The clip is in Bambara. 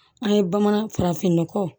An ye bamanan farafin nɔgɔ